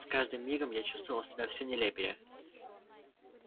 с каждым мигом я чувствовал себя все нелепее